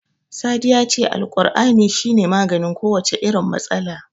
Sadi ya ce Alkur'ani shi ne maganin kowace irin matsala.